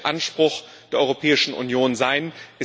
Das muss der Anspruch der Europäischen Union sein.